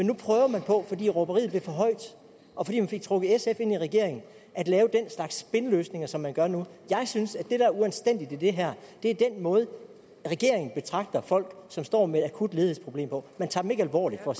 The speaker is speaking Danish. nu prøver på fordi råberiet bliver for højt og fordi man fik trukket sf ind i regeringen at lave den slags spinløsninger som man gør nu jeg synes at det der er uanstændigt i det her er den måde regeringen betragter folk som står med et akut ledighedsproblem på man tager dem ikke alvorligt for